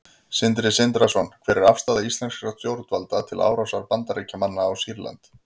Sindri Sindrason: Hver er afstaða íslenskra stjórnvalda til árásar Bandaríkjamanna á Sýrland?